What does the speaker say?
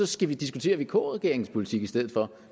skal diskutere vk regeringens politik i stedet for